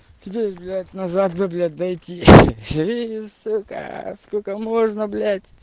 туда назад бы блять дойти